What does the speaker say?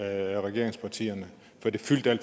er rigtig vigtigt at